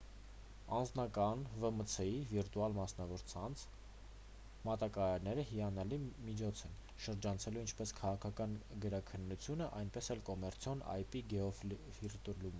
անձնական վմց-ի վիրտուալ մասնավոր ցանց մատակարարները հիանալի միջոց են՝ շրջանցելու ինչպես քաղաքական գրաքննությունը այնպես էլ կոմերցիոն ip գեոֆիլտրումը: